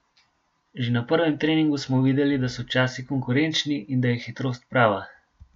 Že na prvem treningu smo videli, da so časi konkurenčni in da je hitrost prava.